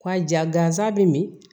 Ka ja gansan bɛ min